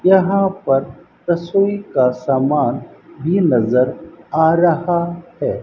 यहां पर दसवीं का सामान भी नजर आ रहा है।